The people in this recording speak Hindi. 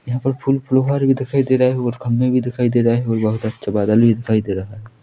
यहाँ पर फूल फुहार भी दिखाई दे रहा हैं और खंबे भी दिखाई दे रहा है और बहुत अच्छा बादल भी दिखाई दे रहा है।